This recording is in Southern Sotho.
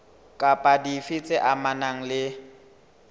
kapa dife tse amanang le